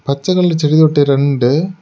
பச்சை கலர்ல செடி தொட்டி ரெண்டு.